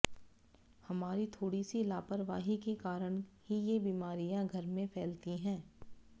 हमारी थोड़ी सी लापरवाही के कारण ही ये बीमारियां घर में फैलती हैं